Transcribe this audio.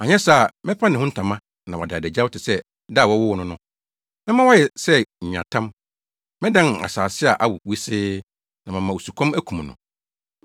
Anyɛ saa a mɛpa ne ho ntama na wada adagyaw te sɛ da a wɔwoo no no; mɛma wayɛ sɛ nweatam, mɛdan no asase a awo wosee na mama osukɔm akum no.